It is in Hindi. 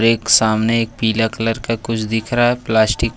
एक सामने एक पीला कलर का कुछ दिख रहा है प्लास्टिक --